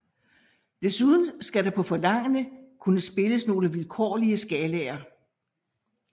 Desuden skal der på forlangende kunne spilles nogle vilkårlige skalaer